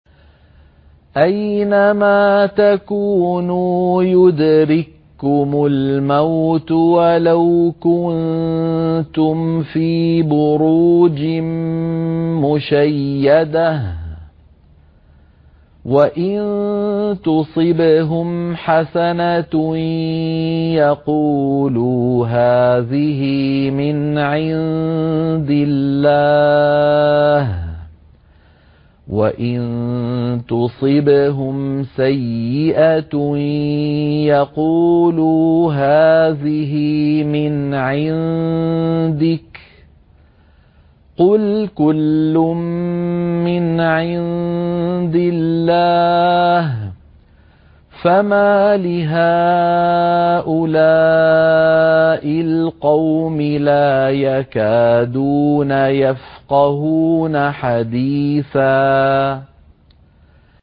أَيْنَمَا تَكُونُوا يُدْرِككُّمُ الْمَوْتُ وَلَوْ كُنتُمْ فِي بُرُوجٍ مُّشَيَّدَةٍ ۗ وَإِن تُصِبْهُمْ حَسَنَةٌ يَقُولُوا هَٰذِهِ مِنْ عِندِ اللَّهِ ۖ وَإِن تُصِبْهُمْ سَيِّئَةٌ يَقُولُوا هَٰذِهِ مِنْ عِندِكَ ۚ قُلْ كُلٌّ مِّنْ عِندِ اللَّهِ ۖ فَمَالِ هَٰؤُلَاءِ الْقَوْمِ لَا يَكَادُونَ يَفْقَهُونَ حَدِيثًا